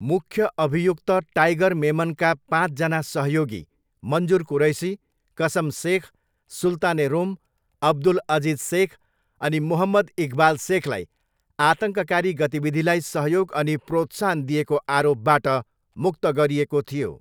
मुख्य अभियुक्त टाइगर मेमनका पाँचजना सहयोगी, मन्जुर कुरैसी, कसम सेख, सुल्तान ए रोम, अब्दुल अजिज सेख अनि मोहम्मद इकबाल सेखलाई आतङ्ककारी गतिविधिलाई सहयोग अनि प्रोत्साहन दिएको आरोपबाट मुक्त गरिएको थियो।